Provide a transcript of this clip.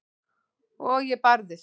Og ég barðist.